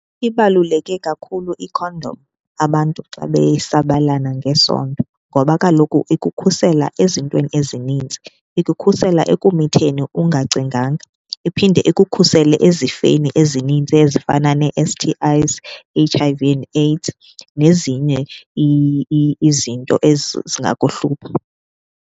Ibaluleke kakhulu ikhondom abantu xa besabelana ngesondo ngoba kaloku ikukhusela ezintweni ezinintsi. Ikukhusela ekumitheni ungacinganga, iphinde ukukhusele ezifeni ezinintsi ezifana nee-S_T_Is, H_I_V and AIDS nezinye izinto zingakuhlupha.